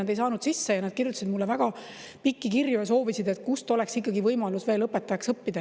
Nad ei saanud sisse ja nad kirjutasid mulle pikki kirju ja soovisid, kus oleks ikkagi võimalus veel õpetajaks õppida.